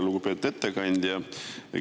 Lugupeetud ettekandja!